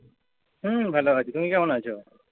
হম ভালো আছি, তুমি কেমন আছো?